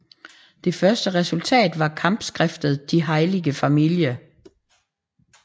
Det første resultatet var kampskriftet Die heilige Familie